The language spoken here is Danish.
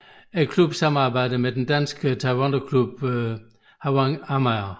Klubben samarbejder med den danske taekwondoklub Hwarang Amager